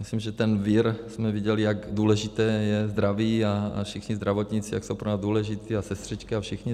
Myslím, že ten vir, jsme viděli, jak důležité je zdraví a všichni zdravotníci jak jsou pro nás důležití, a sestřičky a všichni.